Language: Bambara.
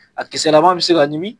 A kisɛlama bɛ se ka ɲimi